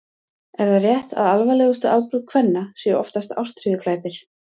er það rétt að alvarlegustu afbrot kvenna séu oftast ástríðuglæpir